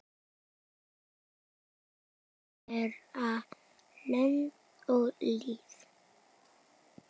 Álfur bera lönd og lýð.